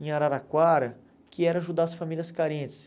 em Araraquara, que era ajudar as famílias carentes.